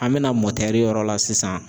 An mɛna yɔrɔ la sisan.